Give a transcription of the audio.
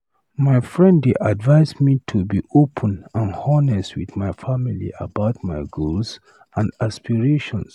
My friend dey advise me to be open and honest with my family about my goals and aspirations.